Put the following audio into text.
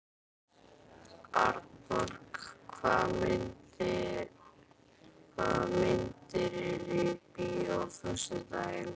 Arnborg, hvaða myndir eru í bíó á föstudaginn?